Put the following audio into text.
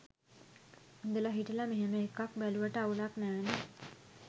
ඉදලා හිටලා මෙහෙම ‍එකක් බැලුවට අවුලක් නෑනේ?